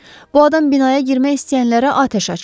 Bu adam binaya girmək istəyənlərə atəş açır.